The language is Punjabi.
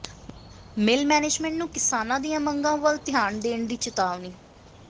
ਮਿੱਲ ਮੈਨੇਜਮੈਂਟ ਨੂੰ ਕਿਸਾਨਾਂ ਦੀਆਂ ਮੰਗਾਂ ਵੱਲ ਧਿਆਨ ਦੇਣ ਦੀ ਚਿਤਾਵਨੀ